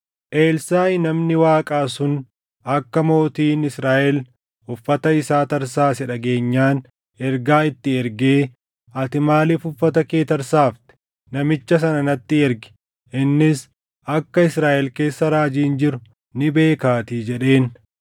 Elsaaʼi namni Waaqaa sun akka mootiin Israaʼel uffata isaa tarsaase dhageenyaan ergaa itti ergee, “Ati maaliif uffata kee tarsaafte? Namicha sana natti ergi; innis akka Israaʼel keessa raajiin jiru ni beekaatii” jedheen.